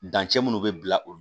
Dancɛ minnu bɛ bila olu